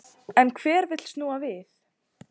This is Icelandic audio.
En hver vill snúa við?